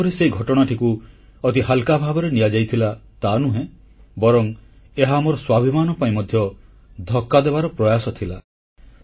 ବାସ୍ତବରେ ସେହି ଘଟଣାଟିକୁ ଅତି ହାଲ୍କା ଭାବରେ ନିଆଯାଇଥିଲା ତାନୁହେଁ ବରଂ ଏହା ଆମର ସ୍ୱାଭିମାନ ପାଇଁ ମଧ୍ୟ ଧକ୍କା ଦେବାର ପ୍ରୟାସ ଥିଲା